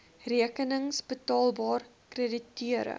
rekenings betaalbaar krediteure